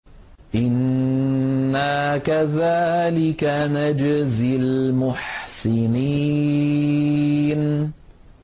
إِنَّا كَذَٰلِكَ نَجْزِي الْمُحْسِنِينَ